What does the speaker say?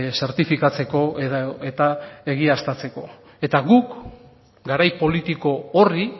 zertifikatzeko edota egiaztatzeko eta guk garai politiko horri